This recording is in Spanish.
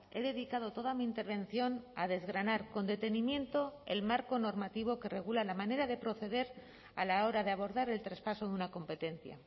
he dedicado toda mi intervención a desgranar con detenimiento el marco normativo que regula la manera de proceder a la hora de abordar el traspaso de una competencia